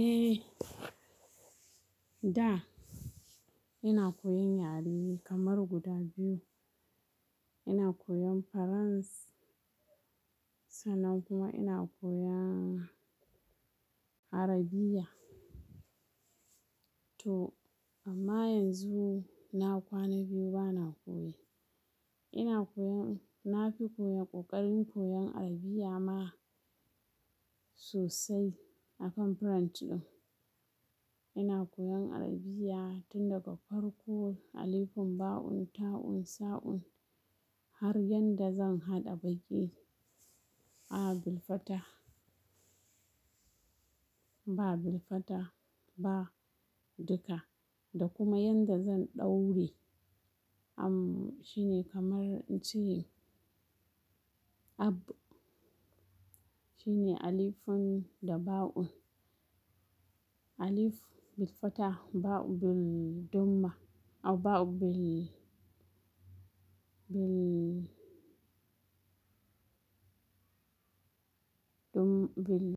Eh, da ina koyan yare kamar guda biyu. Ina koyan Faranss, sannan kuma ina koyan Arabiya. To amma yanzu na kwana biyu bana koye. Ina koyan, na fi koyan ƙoƙarin koyan Arabiya ma sosai akan Farance ɗin. Ina koyan Arabiya tun daga farko alifun, ba', un, ta', un, sa', un har yadda zan haɗa baƙi. A bilfata, ba bilfata ba duka da kuma yanda zan daure. Amm, shine kamar in ce ab shine alifun ɗa ba un'. Alif bilfataha, ba'u bildumma, aw ba' bil, bil, dum, bil.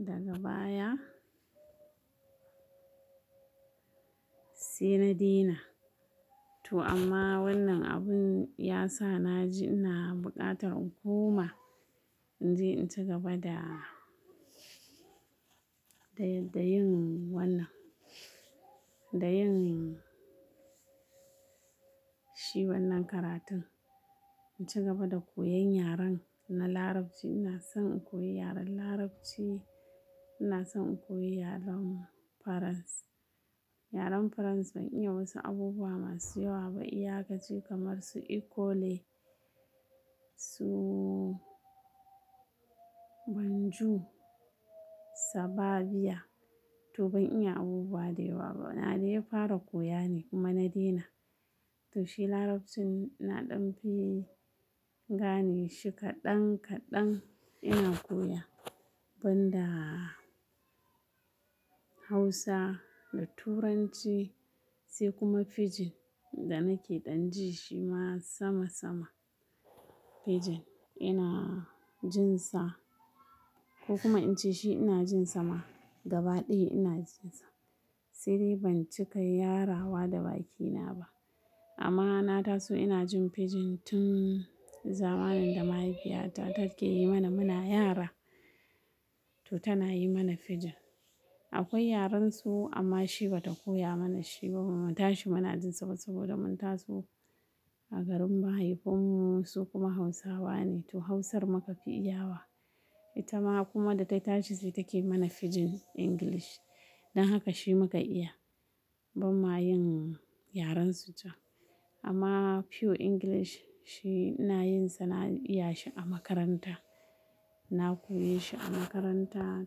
Daga baya sai na daina. To amma wannan abun ya sa na ji ina buƙatar inkoma in je in ci gaba da, da, da yin wannan, da yin shi wannan karatun. In ci gaba da koyan yaren na Larabci. Ina son in koyi yaren Larabci, ina son in koyi yaren Faranss. Yaren Faranss ban iya wasu abubuwa masu yawa ba. Iya kashi kamar su ikole, su bonjour, ca va bir. To ban iya abubuwa da yawa ba. Na dai fara koya ne kuma na daina. To shi Larabci na ɗan fi gane shi kaɗan kaɗan ina koya banda Hausa da Turanci sai kuma Fijin da nake dan ji shi ma sama sama. Fijin ina jin sa ko kuma in ce shi ina jin sa ma gaba ɗaya ina jin sa. Saidai ban cika yarawa da bakina ba amma na taso ina jin Fijin tun zamanin da mahaifiyata take yi mana muna yara. To tana yi mana Fijin. Akwai yaren su amma shi bata koya mana shi ba bamu ta shi muna jin sa ba saboda mun taso a garin ba. Mahaifinmu su kuma Hausawa ne to Hausar muka fi iyawa. Ita ma kuma da ta tashi sai take mana Fijin English. Don haka shi muka iya ban ma yin yaren su can. Amma pure English shi ina yin sa na iya shi a makaranta. Na koyi shi a makaranta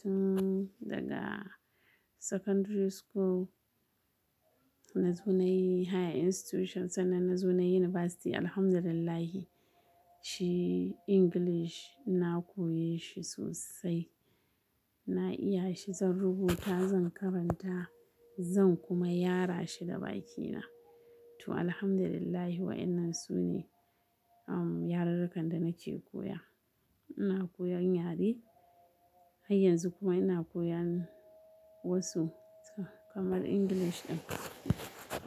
tun daga sakandar sukul. Na zo nayi higher institution sannan na zo nayi university alhamdulillahi. Shi English na koyi shi sosai. Na iya shi, zan rubuta, zan karanta zan kuma yara shi da bakina. To alhamdulillahi waɗannan su ne, amm, yarurrukan da nake koya. Ina koyan yare har yanzu kuma ina koyan wasu kamar English ɗin.